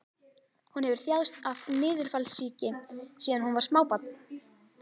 Hún hefur þjáðst af niðurfallssýki síðan hún var smábarn.